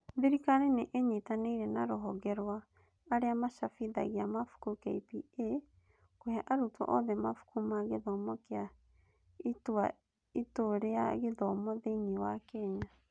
Thirikari nĩ ĩnyitanĩire na Ruhonge rwa arĩa macabithagia mabuku (KPA) kũhe arutwo othe mabuku ma gĩthomo kĩa Ituu rĩa Gĩthomo thĩinĩ wa Kenya